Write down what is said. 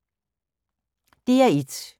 DR1